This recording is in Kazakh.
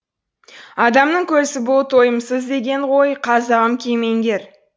адамның көзі бұл тойымсыз деген ғой қазағым кемеңгер